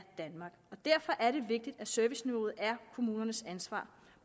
danmark og derfor er det vigtigt at serviceniveauet er kommunernes ansvar